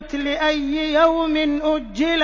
لِأَيِّ يَوْمٍ أُجِّلَتْ